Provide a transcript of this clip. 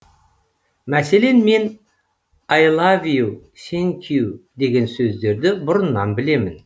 мәселен мен айлавию сенкю деген сөздерді бұрыннан білемін